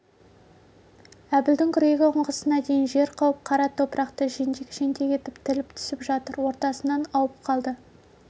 әбілдің күрегі ұңғысына дейін жер қауып қара топырақты жентек-жентек етіп тіліп түсіп жатыр ортасынан ауып қалды